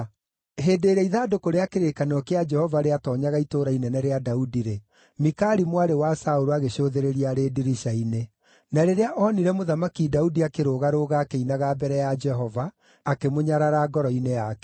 Hĩndĩ ĩrĩa ithandũkũ rĩa kĩrĩkanĩro kĩa Jehova rĩatoonyaga itũũra inene rĩa Daudi-rĩ, Mikali mwarĩ wa Saũlũ agĩcũthĩrĩria arĩ ndirica-inĩ. Na rĩrĩa onire Mũthamaki Daudi akĩrũga-rũga akĩinaga mbere ya Jehova, akĩmũnyarara ngoro-inĩ yake.